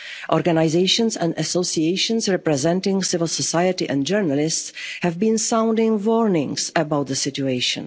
of years. Organisations and associations representing civil society and journalists have been sounding warnings about the